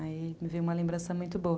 Aí me veio uma lembração muito boa.